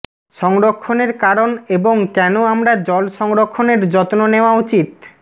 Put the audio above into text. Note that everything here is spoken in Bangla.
সংরক্ষণের কারণ এবং কেন আমরা জল সংরক্ষণের যত্ন নেওয়া উচিত